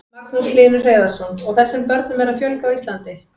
Magnús Hlynur Hreiðarsson: Og þessum börnum er að fjölga á Íslandi?